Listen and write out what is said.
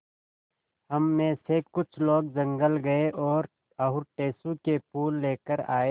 हम मे से कुछ लोग जंगल गये और टेसु के फूल लेकर आये